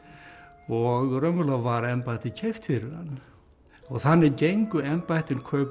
og raunverulega var embættið keypt fyrir hann og þannig gengu embættin kaupum